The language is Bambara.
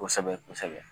Kosɛbɛ kosɛbɛ